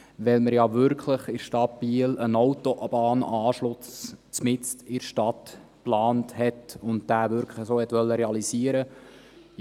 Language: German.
Weil man ja in Biel wirklich einen Autobahnanschluss mitten in der Stadt geplant hatte und diesen wirklich so realisieren wollte.